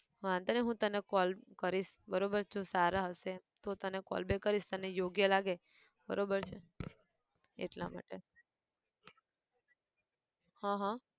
વાંધો નઈ હું તને call. કરીશ બરોબર જો સારા હશે તો તને callback કરીશ તને યોગ્ય લાગે, બરોબર છે, એટલા માટે હન હન!